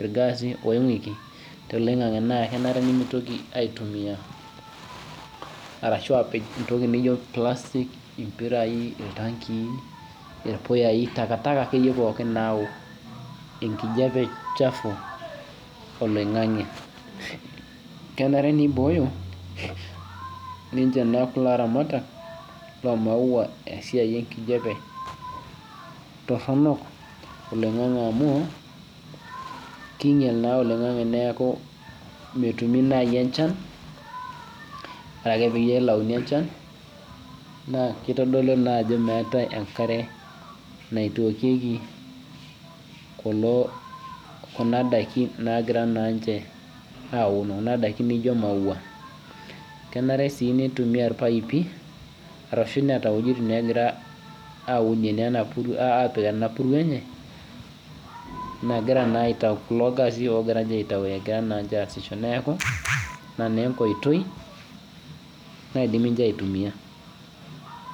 irgaasi longuiki toloingangi na kenare nimitoki aitumia ashu apim entoki naijo plastic irpuyai ,takataka akeyie pookin nayau enkijape chafubolaingange kenare nibooyo kulo aramatak lomaua esiaia enkijape toronon toloingangi ami kinyel oloingangi metaa metumi enchan ore pelauni enchan nakitodolu ajo meetae enkare naitookieki kuna dakin naijo maua kenare si nitimia irpaipi ashu eeta ntokitin nagira apik enapuruo enye kulo gasi ogira aasisho neaku ina na enkoitoi naidim ninche aitumia.